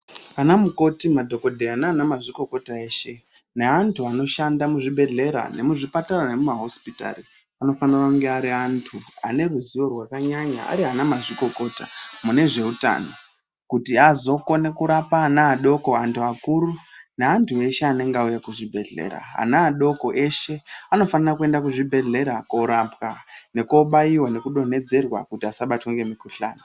Ana mumoti madhokodheya nana mazvikokota eshe neantu anoshanda muzvibheshleya nemuzvipatara nemumahosipitari anofanira kunge ari anthu ane ruzivo rwakanyanya ari anamazvikokota mune zveutano kuti azokone kurapa na adoko anthu akuru neantu eshe anenge auya kuchibhedhlera ana adoko eshe anofanira kuenda kuchibhedhlera korapwa nekobaiwa nekudontedzerwa kuti asabata ngemukhuhlani.